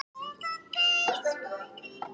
Fór vel með sig.